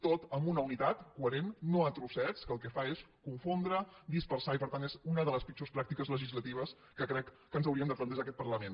tot amb una unitat coherent no a trossets que el que fa és confondre dispersar i per tant és una de les pitjors pràctiques legislatives que crec que ens hauríem de plantejar en aquest parlament